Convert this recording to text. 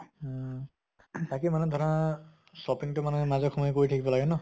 অহ। তাকে মানে ধৰা shopping টো মানে মাজে সময়ে কৰি থাকিব লাগে ন